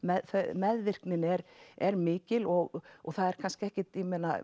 meðvirknin er er mikil og það er kannski ekkert